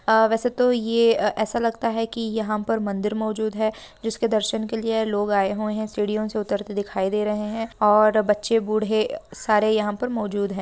अ वैसे तो ये अ ऐसा लगता है कि यहाँ पर मंदिर मौजूद है जिसके दर्शन के लिए लोग आए हुए हैं सीढ़ियो से उतरते दिखाई दे रहे हैं और बच्चे बूढ़े सारे यहाँ पर मौजूद हैं।